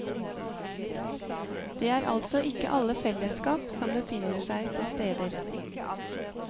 Det er altså ikke alle fellesskap som befinner seg på steder.